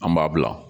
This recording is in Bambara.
An b'a bila